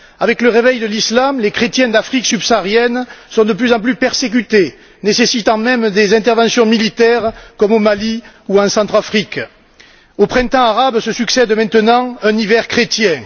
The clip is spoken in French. Avec le réveil de l'Islam, les chrétiens d'Afrique subsaharienne sont de plus en plus persécutés, nécessitant même des interventions militaires comme au Mali ou en Centrafrique. Au Printemps arabe succède maintenant un hiver chrétien.